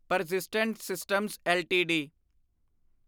persistent systems LTD